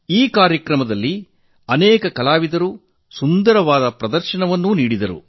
ಈ ಕಾರ್ಯಕ್ರಮದಲ್ಲಿ ಅನೇಕ ಕಲಾವಿದರು ಸುಂದರ ಪ್ರದರ್ಶನ ನೀಡಿದರು